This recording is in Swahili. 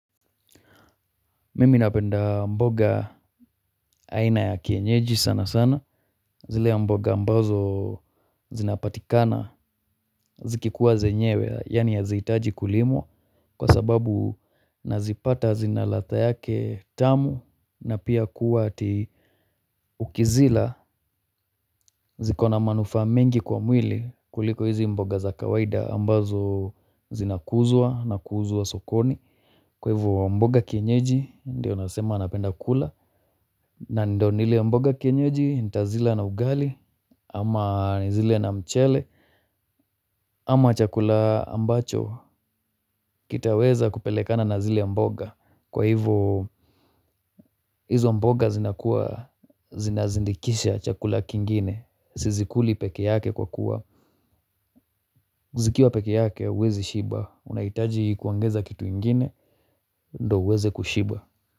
Mimi napenda mboga aina ya kienyeji sana sana. Zile mboga ambazo zinapatikana zikikuwa zenyewe yaani hazihitaji kulimwa kwa sababu nazipata zina ladha yake tamu. Na pia kuwa ati ukizila zikona manufaa mengi kwa mwili kuliko hizi mboga za kawaida ambazo zinakuzwa na kuuzwa sokoni kwa hivyo mboga kienyeji ndio nasema napenda kula. Na ndo nile mboga ya kienyeji, nitazila na ugali. Ama nizile na mchele. Ama chakula ambacho kitaweza kupelekana na zile mboga. Kwa hivo hizo mboga zinakua zinazindikisha chakula kingine. Sizikuli peke yake kwa kuwa zikiwa peke yake, huwezi shiba, unaitaji kuongeza kitu ingine ndo uweze kushiba.